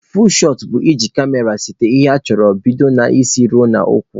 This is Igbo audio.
Fuul shọt bụ iji kamera sete ihe ị chọrọ bido n'isi ruo n'ụkwụ.